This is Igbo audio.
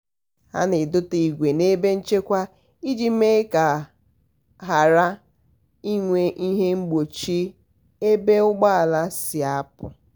ha na-edota igwe n'ebe nchekwa iji mee ka a ghara inwe ihe mgbochi ebe ụgbọala si apụ